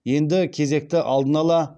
енді кезекті алдын ала